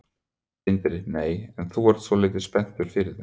Sindri: Nei, en þú ert svolítið spenntur fyrir þeim?